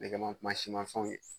Nɛgɛmanw mansi mafɛnw ye